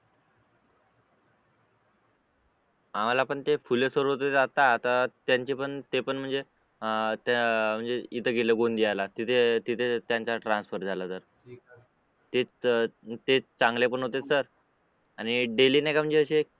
आम्हाला पण ते फुले सर होते तर आता त्यांचे पण ते पण म्हणजे ते इथं गेले गोंदियाला तिथे त्यांचा ट्रान्सफर झाला तर तेच चांगले पण होते सर आणि डेलि नाही का शे